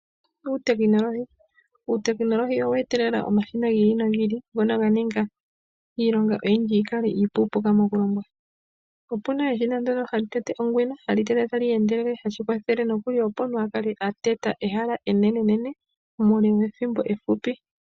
Uutekinolohi Uutekinolohi owe etelela omashina gi ili nogi ili, ngono ga ninga iilonga oyindji yi kale iipuupuka mokulongwa. Opu na eshina ndyono hali tete ongwena, hali tete tali endelele, hashi kwathele noku li opo omuntu a kale a teta ehala enene muule wethimbo efupi.